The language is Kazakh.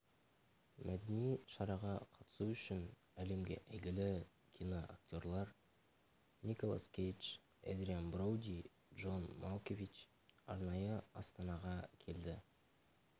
мәдени шараға қатысу үшін әлемге әйгілі киноактерлар николас кейдж эдриан броуди джон малкович арнайы астанаға келді